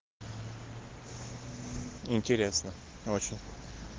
интересно очень